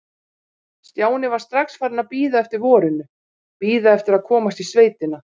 Stjáni var strax farinn að bíða eftir vorinu, bíða eftir að komast í sveitina.